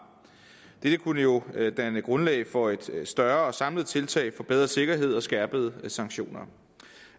dette kunne jo danne grundlag for et større og samlet tiltag for bedre sikkerhed og skærpede sanktioner